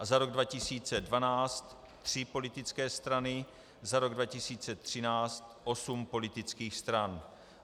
- A za rok 2012 tři politické strany, za rok 2013 osm politických stran.